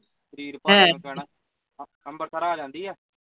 ਸਰੀਰ ਭਾਰਾ ਜਾ ਅੰਬਰਸਰ ਆ ਜਾਂਦੀ ਆ